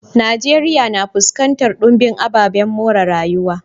Najeriya na fuskantar dumbin ababen more rayuwa.